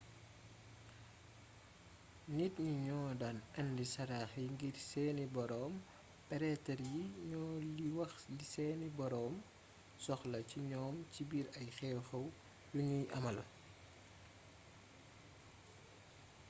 nit ñi ñoo daan indi sarax yi ngir seeni boroom pretre yi ñoo li wax li seeni boroom soxla ci ñoom ci biir ay xew-xew yu ñuy amal